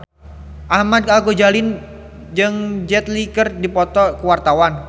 Ahmad Al-Ghazali jeung Jet Li keur dipoto ku wartawan